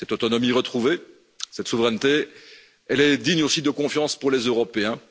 Cette autonomie retrouvée, cette souveraineté, elle est digne aussi de confiance pour les Européens.